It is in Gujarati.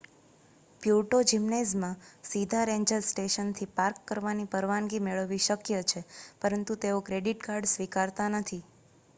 પ્યુર્ટો જિમ્નેઝમાં સીધા રેન્જર સ્ટેશનથી પાર્ક કરવાની પરવાનગી મેળવવી શક્ય છે પરંતુ તેઓ ક્રેડિટ કાર્ડ સ્વીકારતા નથી